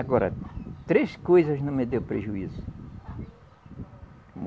Agora, três coisas não me deu prejuízo.